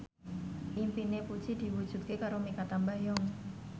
impine Puji diwujudke karo Mikha Tambayong